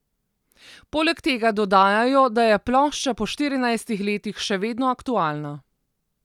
Poleg tega dodajajo, da je plošča po štirinajstih letih še vedno aktualna.